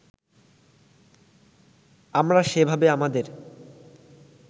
আমরা সেভাবে আমাদের